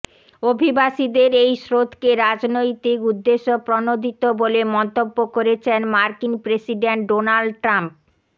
অভিবাসীদের এই স্রোতকে রাজনৈতিক উদ্দেশ্য প্রণোদিত বলে মন্তব্য করেছেন মার্কিন প্রেসিডেন্ট ডোনাল্ড ট্রাম্প